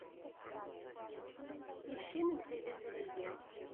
ищи на телевизоре е